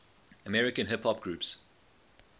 american hip hop groups